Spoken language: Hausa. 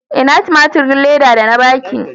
Ina tumaturin Leda da na ba ki?